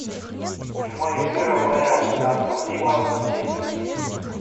прямой эфир апл астон вилла манчестер сити